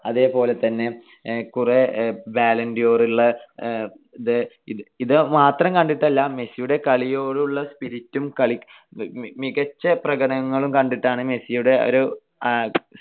അതേപോലെതന്നെ കുറെ balloon D or ഉള്ള, ഇത് മാത്രം കണ്ടിട്ടില്ല. മെസ്സിയുടെ കളിയോടുള്ള spirit ഉം കളി മികച്ച പ്രകടനങ്ങളും കണ്ടിട്ടാണ് മെസ്സിയുടെ ഒരു